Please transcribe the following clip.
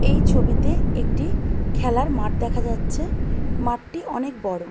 এই ছবিতে একটি খেলার মাঠ দেখা যাচ্ছে। মাঠটি অনেক বড়।